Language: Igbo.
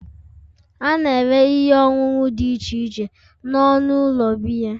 A na-ere ihe ọṅụṅụ dị iche iche n'ọnụ ụlọ biya